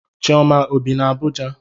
Chioma ọ bi na Abuja?